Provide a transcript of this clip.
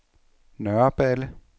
Nørreballe